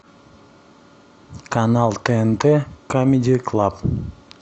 канал тнт камеди клаб